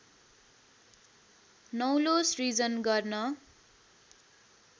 नौलो सृजन गर्न